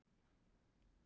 Ég er þar staddur núna.